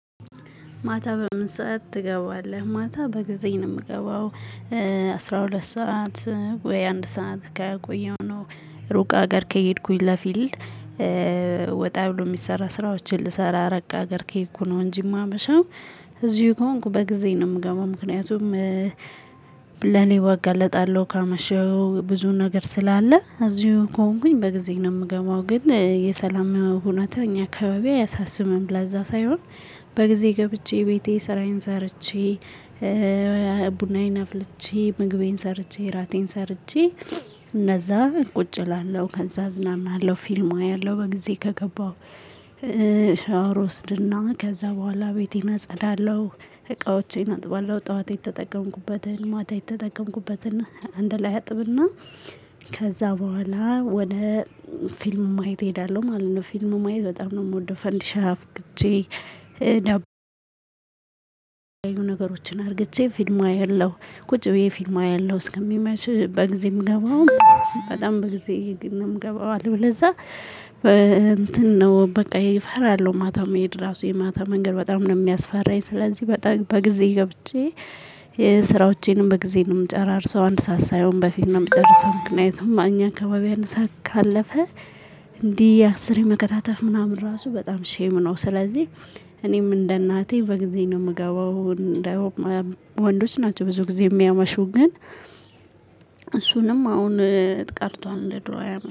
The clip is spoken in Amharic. ማታ በምን ሰዓት ትገባለህ? ማታ በጊዜ ነው የምገባው። አስራ ሁለት ሰዓት ወይ አንድ ሰዓት ከቆየሁ ነው። ሩቅ ሀገር ከሄድኩኝ ለፊልድ። ወጣ ብሎ የሚሰራ ስራዎችን ልሰራ ራቅ አገር ከሄድኩ ነው እንጂ የማመሸው። እዚሁ ከሆንኩ በጊዜ ነው የምገባው ምክንያቱም። ለሌባ እጋለጣለሁ ካመሸው ብዙ ነገር ስላለ እዚሁ ከሆንኩኝ በጊዜ ነው የምገባው። ግን የሰላም ሁኔታው እኛ አካባቢ አያሳስብም ለዛ ሳይሆን። በጊዜ ገብቼ ቤቴ ስራዬን ሰርቼ። ቡናዬን አፍልቼ ምግቤን ሰርቼ እራቴን ሰርቼ እንደዛ ቁጭ እላለሁ ከዛ እዝናናለሁ። ፊልም አያለሁ በጊዜ ከገባሁ ሻወር ወስድና ከዛ በኋላ ቤቴን አጸዳለሁ። እቃዎቼን አጥባለሁ ጠዋት የተጠቀምኩበትን ማታ የተጠቀምኩበትን አንድ ላይ አጥብና ከዛ በኋላ ወደ ፊልም ማየት እሄዳለሁ ማለት ነው። ፊልም ማየት በጣም ነው የምወደው ፈንድሻ አፍክቼ። ነገሮችን አርግቼ ፊልም አየለሁ ቁጭ ብዬ ፊልም አያለሁ እስከሚመሽ በጊዜ ምገባውም በጣም በጊዜ ነው የምገባው። አለበለዛ እንትን ነው በቃ ይሄ ፈራለሁ። ማታ መሄድ ራሱ የማታ መንገድ በጣም ነው የሚያስፈራኝ። ስለዚህ በጠ በጊዜ ገብቼ። ስራዎቼንም በጊዜ ነው የምጨራርሰው አንድ ሰዓት ሳይሆን በፊት ነው የምጨርሰው። ምክንያቱም አኛ አካባቢ አንድ ሰዓት ካለፈ። እንዲህ አስሬ መከታተፍ ምናምን ራሱ በጣም ሼም ነው። ስለዚህ እኔም እንደ እናቴ በጊዜ ነው የምገባው። ወንዶች ናቸው ብዙ ጊዜ የሚያመሹ ግን። እሱንም አሁን ቀርቷል እንደ ድሮ አያመ